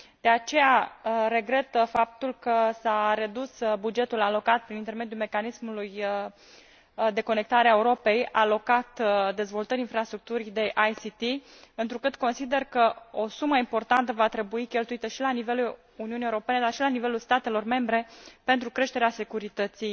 De aceea, regret faptul că s a redus bugetul alocat prin intermediul Mecanismului pentru interconectarea Europei dezvoltării infrastructurii de TIC, întrucât consider că o sumă importantă va trebui cheltuită și la nivelul Uniunii Europene, dar și la nivelul statelor membre, pentru creșterea securității